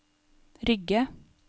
Rygge